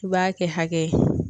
I b'a kɛ hakɛ ye.